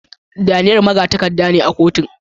Daniel magatakarda ne a kotun.